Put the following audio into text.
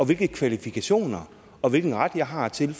hvilke kvalifikationer og hvilken ret jeg har til